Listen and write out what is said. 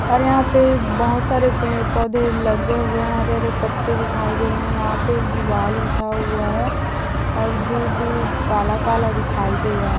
और यहाँ पे बहुत सारे पेड़ पौधे लगे हुए हैं हरे हरे पत्ते दिखाई दे रहे हैं यहाँ पे एक दीवार उठा हुआ है और दूर-दूर काला काला दिखाई दे रहा है।